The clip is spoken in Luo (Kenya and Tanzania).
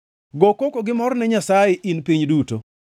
Go koko gi mor ne Nyasaye, in piny duto!